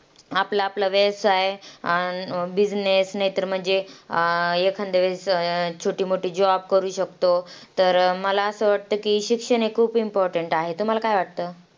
आपला आपला व्यवसाय, अं business, नाहीतर म्हणजे अं एखांद्या वेळेस छोटी मोठी job करू शकतो. तर मला असं वाटतं की शिक्षण हे खूप important आहे. तुम्हाला काय वाटतं?